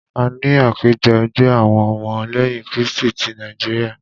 A ní àpéjọ ẹgbẹ́ àwọn ọmọ lẹ́yìn krístì tí Nàíjíríà.